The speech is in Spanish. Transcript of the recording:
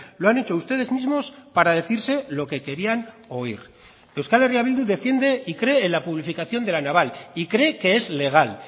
lo han hecho ustedes mismos para decirse lo que querían oir euskal herria bildu defiende y cree en la publificación de la naval y cree que es legal